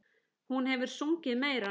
Hún hefur sungið meira.